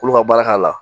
K'olu ka baara k'a la